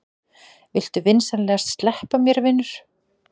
Viltu vinsamlegast sleppa mér, vinur!